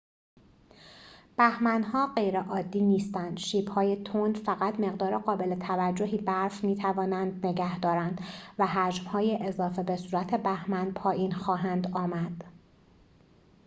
بهمن‌ها غیرعادی نیستند شیب‌های تند فقط مقدار قابل توجهی برف می‌توانند نگه دارند و حجم‌های اضافه به صورت بهمن پایین خواهند آمد